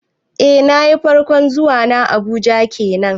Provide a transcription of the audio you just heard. Eh nayi, farkon zuwa na Abuja kenan